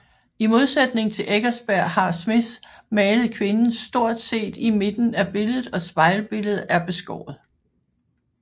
I modsætning til Eckersberg har Smith malet kvinden stort set i midten af billedet og spejlbilledet er beskået